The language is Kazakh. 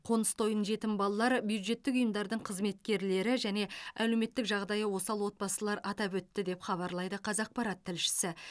қоныс тойын жетім балалар бюджеттік ұйымдардың қызметкерлері және әлеуметтік жағдайы осал отбасылар атап өтті деп хабарлайды қазақпарат тілшісі